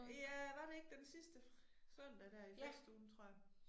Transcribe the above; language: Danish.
Ja var det ikke den sidste søndag dér i festugen tror jeg